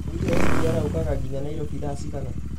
mũgithi wa sgr ũkaga nginya nairobi thaa cigana